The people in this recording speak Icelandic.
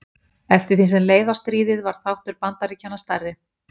eftir því sem leið á stríðið varð þáttur bandaríkjanna stærri